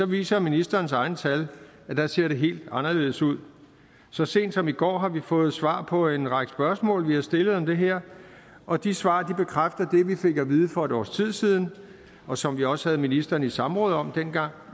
viser ministerens egne tal at der ser det helt anderledes ud så sent som i går har vi fået svar på en række spørgsmål vi har stillet om det her og de svar bekræfter det vi fik at vide for et års tid siden og som vi også havde ministeren i samråd om dengang